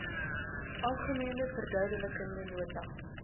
algemene verduidelikende nota